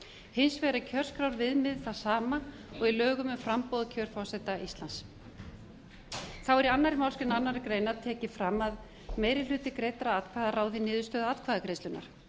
hins vegar er kjörskrárviðmiðið það sama og í lögum um framboð og kjör forseta íslands þá er í annarri málsgrein annarrar greinar tekið fram að meiri hluti greiddra atkvæða ráði niðurstöðu atkvæðagreiðslunnar